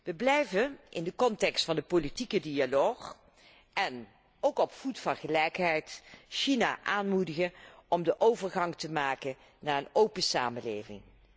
We blijven, in de context van de politieke dialoog en op voet van gelijkheid, China aanmoedigen om de overgang te maken naar een open samenleving.